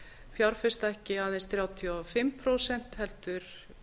fjárfesta ekki aðeins þrjátíu og fimm prósent heldur